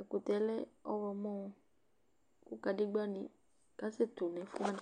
Ɛkʋtɛ yɛ lɛ ɔɣlɔmɔ kʋ kadegbǝnɩ kasɛtʋ nʋ ɛfʋ wanɩ